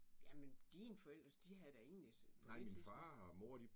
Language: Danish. Jamen dine forældre de havde da ingen på det tidspunkt